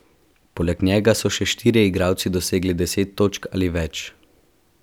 Poleg njega so še štirje igralci dosegli deset točk ali več.